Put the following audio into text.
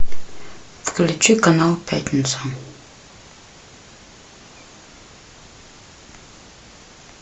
включи канал пятница